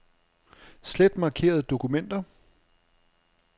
Slet markerede dokumenter.